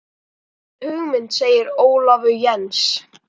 Gömul hugmynd segir Ólafur Jens.